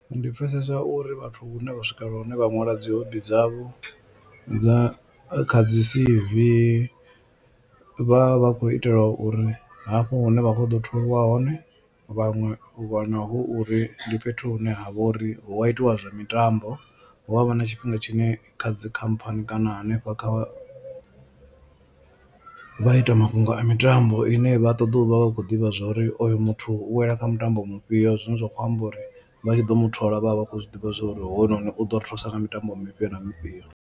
Ndi pfhesesa uri vhathu hune vha swikelela hune vha ṅwala dzi hobby dzavho dza kha dzi C_V vha vha vha khou itela uri hafho hune vha kho ḓo tholiwa hone, vhaṅwe u wana hu uri ndi fhethu hune ha vha uri hu a itiwa zwa mitambo hu avha na tshifhinga tshine kha dzikhamphani kana hanefha kha vha ita mafhungo a mitambo ine vha ṱoḓa u vha vha khou ḓivha zwa uri oyo muthu u wela kha mutambo mufhio. Zwine zwa khou amba uri vha tshi ḓo mutholi vhavha vha khou zwi ḓivha zwa uri hoyunoni u ḓo ri thusa nga mitambo mifhio na mifhio.